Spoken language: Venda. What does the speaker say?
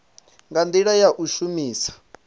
nga ndila ya u shumisa